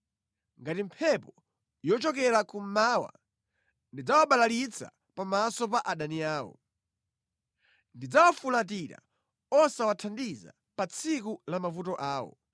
Ngati mphepo yochokera kummawa, ndidzawabalalitsa pamaso pa adani awo; ndidzawafulatira osawathandiza pa tsiku la mavuto awo.”